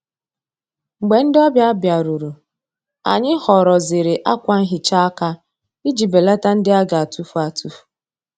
Mgbè ndị́ ọ́bị̀à bìárùrù, ànyị́ họ́rọ́zìrì ákwà nhị́chá áká ìjí bèlàtá ndị́ á gà-àtụ́fù àtụ́fù.